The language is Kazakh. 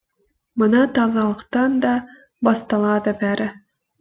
мына тазалықтан да басталады бәрі